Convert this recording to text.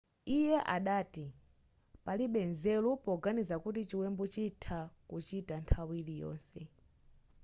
iye adati palibe nzeru poganiza kuti chiwembu chitha kuchita nthawi iliyonse